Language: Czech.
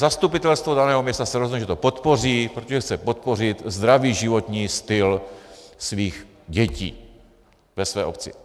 Zastupitelstvo daného města se rozhodlo, že to podpoří, protože chce podpořit zdravý životní styl svých dětí ve své obci.